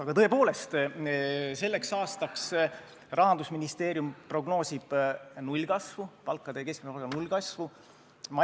Aga tõepoolest, selleks aastaks Rahandusministeerium prognoosib palkade ja keskmise palga nullkasvu.